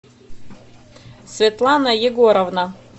светлана егоровна